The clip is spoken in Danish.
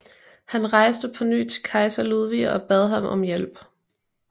Han rejste på ny til kejser Ludvig og bad ham om hjælp